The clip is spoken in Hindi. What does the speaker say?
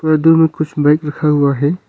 दूर में कुछ बाइक रखा हुआ है।